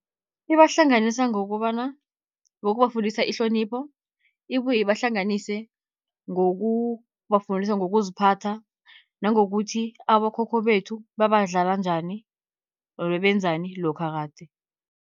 Ibahlanganisa ngokobana ngokubafundisa ihlonipho, ibuye ibahlanganise ngokubafundisa ngokuziphatha nangokuthi abokhokho bethu, babadlala njani or bebenzani lokha kade.